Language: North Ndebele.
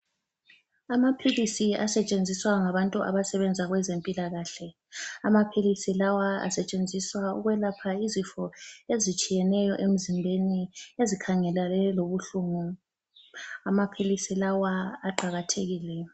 Amaphilisi asetshenziswa ngabantu abasebenza kwezempilakahle. Amaphilisi lawa asetshenziswa ukwelapha izifo eztshiyeneyo emzimbeni, ezikhangelane lobuhlungu. Amaphilisi lawa aqakathekile.